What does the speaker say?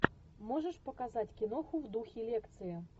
можешь показать киноху в духе лекции